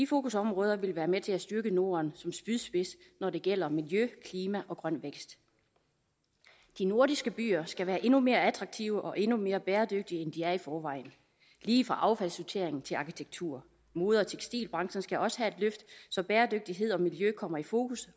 fokusområder vil være med til at styrke norden som spydspids når det gælder miljø klima og grøn vækst de nordiske byer skal være endnu mere attraktive og endnu mere bæredygtigt end de er i forvejen lige fra affaldssortering til arkitektur mode og tekstilbranchen skal også have et løft så bæredygtighed og miljø kommer i fokus